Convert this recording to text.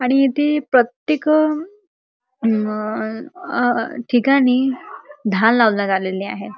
आणि इथे प्रत्येक अम आ ठिकाणी धाल लावण्यात आलेली आहे.